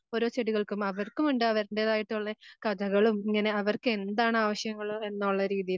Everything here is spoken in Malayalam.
ഓരോ ചെടികൾക്കും അവർക്കുമുണ്ട് അവരുടേതായിട്ടുള്ള